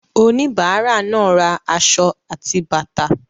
Oníbàárà náà ra aṣọ àti bàtà.